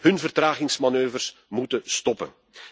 Hun vertragingsmanoeuvres moeten stoppen.